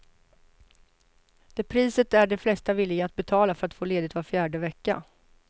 Det priset är de flesta villiga att betala för att få ledigt var fjärde vecka.